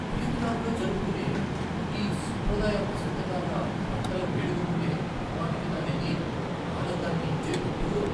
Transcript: వియత్నాంలో జరుపుకునే ఈ సాంప్రదాయ వసంతకాల పంటల వేడుకకుండే ప్రామాణికత అనేది ఆనందాన్నిచ్చే విడ్డూరం.